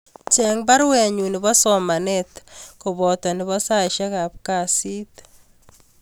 Cheng baruenyun nebo somanet koboto nebo saisyek ab kasit